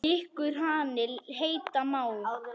Gikkur hani heita má.